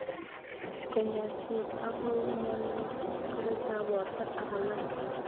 Kanyoiset ake kou ngololjinet, keretab borto aka alak